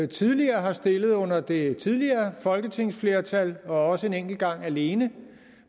tidligere har stillet under det tidligere folketingsflertal og også en enkelt gang alene